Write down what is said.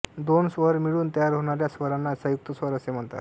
दोन स्वर मिळून तयार होणाऱ्या स्वरांना संयुक्त स्वर असे म्हणतात